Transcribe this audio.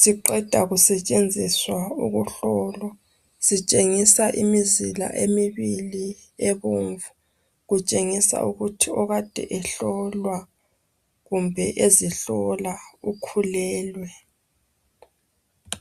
Siqeda kusetshenziswa ukuhlola. Sitshengisa imizila emibili, ebomvu. Kutshengisa ukuthi okade ehlolwa, kumbe ezihlola, ukhulelwe.